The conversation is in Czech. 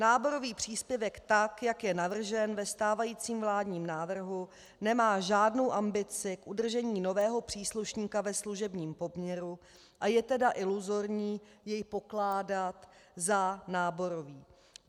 Náborový příspěvek, tak jak je navržen ve stávajícím vládním návrhu, nemá žádnou ambici k udržení nového příslušníka ve služebním poměru, a je tedy iluzorní jej pokládat za náborový.